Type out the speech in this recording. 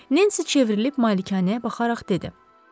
Nancy çevrilib malikanəyə baxaraq dedi: